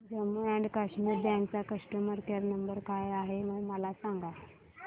Jammu and Kashmir bank चा customer care number काय आहे हे मला सांगा